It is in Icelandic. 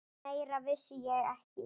Meira vissi ég ekki.